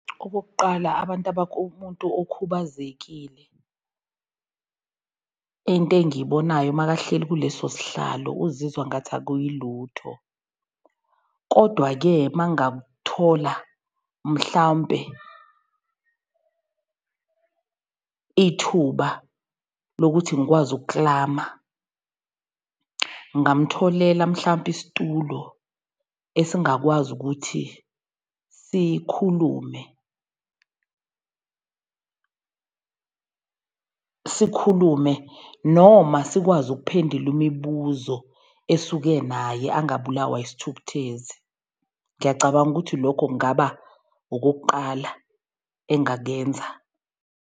Okokuqala abantu umuntu okhubazekile into engiyibonayo makahleli kuleso sihlalo, uzizwa ngathi akuyilutho. Kodwa-ke uma ngathola mhlawumpe ithuba lokuthi ngikwazi ukuklama ngingamtholele mhlampe isitulo esingakwazi ukuthi sikhulume sikhulume noma sikwazi ukuphendula imibuzo esuke naye angabulawa isithukuthezi. Ngiyacabanga ukuthi lokho kungaba okokuqala engakenza.